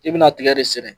I bɛna tigɛ de sɛnɛ